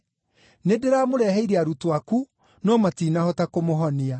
Nĩndĩramũreheire arutwo aku, no matinahota kũmũhonia.”